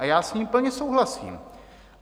A já s ním plně souhlasím.